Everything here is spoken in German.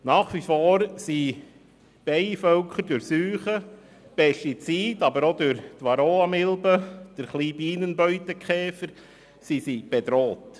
Nach wie vor sind Bienenvölker durch Krankheiten, Pestizide, aber auch durch die Varroamilbe, ein kleiner Bienenbeutekäfer, bedroht.